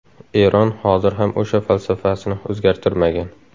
Eron hozir ham o‘sha falsafasini o‘zgartirmagan.